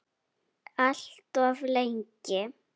Alltof lengi.